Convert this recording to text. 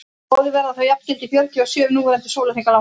báðir verða þá jafngildi fjörutíu og sjö núverandi sólarhringa langir